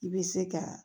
I bɛ se ka